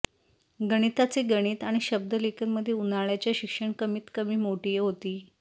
गणिताचे गणित आणि शब्दलेखन मध्ये उन्हाळ्याच्या शिक्षण कमीतकमी मोठी होती